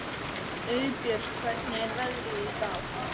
Auðbjört, hvernig er veðrið í dag?